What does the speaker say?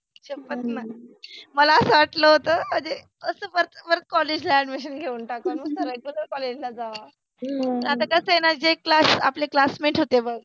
तिच पन न, मला अस वाटल होत मनजे अस अस परत कॉलेज ला अ‍ॅड्मिशन घेऊन टाकुन रेगुलर कॉलेज ला जाव, आता कस आहे न जे क्लास आपले क्लासमेट होते बघ